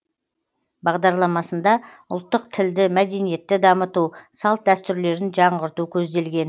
бағдарламасында ұлттық тілді мәдениетті дамыту салт дәстүрлерін жаңғырту көзделген